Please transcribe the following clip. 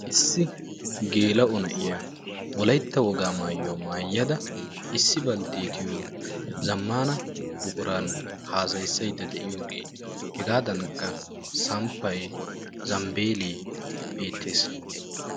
issi gela"o na'iyaa wolaytta woga maayuwaa mayyada issi balttetiyo zammana buqquran hassayisaydda de'iyooge hegadankka samppay zambbele beettes